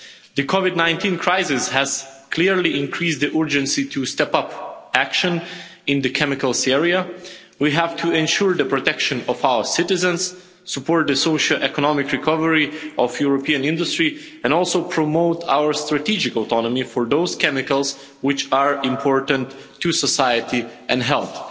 The COVID 19 crisis has clearly increased the urgency to step up action in the chemicals area. We have to ensure the protection of our citizens, support the socio economic recovery of European industry and also promote our strategic autonomy for those chemicals which are important to society and health.